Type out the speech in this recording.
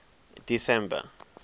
december